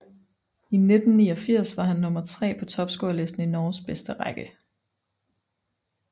I 1989 var han nummer tre på topscorelisten i Norges bedste række